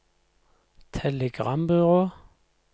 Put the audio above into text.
telegrambyrå